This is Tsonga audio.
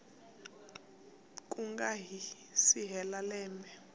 ku nga si hela lembe